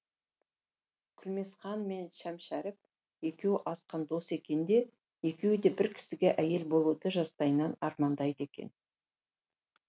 күлмесханмен шәмшәріп екеуі асқан дос екен де екеуі де бір кісіге әйел болуды жастайынан армандайды екен